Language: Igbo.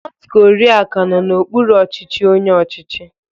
North Korea ka nọ n'okpuru ọchịchị onye ọchịchị